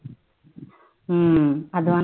உம் அதான்